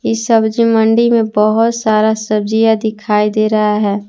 इस सब्जी मंडी में बहुत सारा सब्जियां दिखाई दे रहा है।